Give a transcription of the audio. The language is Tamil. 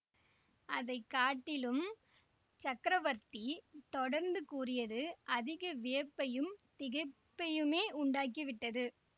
அதை காட்டிலும் சக்கரவர்த்தி தொடர்ந்து கூறியது அதிக வியப்பையும் திகைப்பையுமே உண்டாக்கிவிட்டது